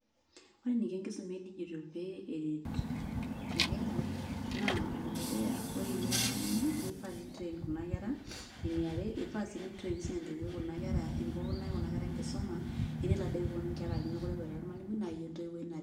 Ore eniko enkisuma edijitol pee eret inkera, naa enedukuya, ore ira ormalimui, naifaa nin train kuna kera, eniare, ifaa si nin train sinye entoiwuoi kuna kera enikunaa kuna kera enkisuma, enelo ade peponu nkera aji mekure eboitare ormalimui, naa yie entoiwuoi naret.